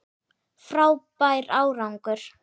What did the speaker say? Frábær árangur